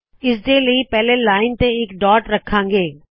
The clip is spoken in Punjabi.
ਇਸਦੇ ਲਈ ਪਹਿਲੇ ਲਾਇਨ ਤੇ ਇਕ ਡਾੱਟ ਰੱਖਾੰ ਗੇ